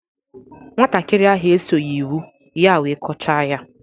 Nwatakịrị ahụ esoghị iwu ya wee kọchaa ya